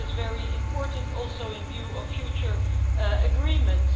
That is very important, also in view of future agreements.